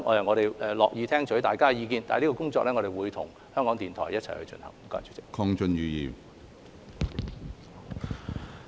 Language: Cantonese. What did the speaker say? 我們樂意聽取大家的意見，會與港台一起進行這項工作。